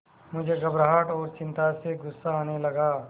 मुझे घबराहट और चिंता से गुस्सा आने लगा